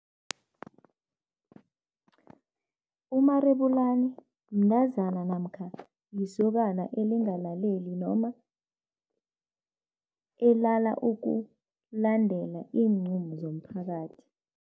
Umarebulani mntazana namkha lisokana elingalaleli noma elala ukulandela iinqumo zomphakathi.